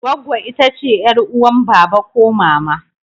Gwaggo itace yar'uwan baba ko mama.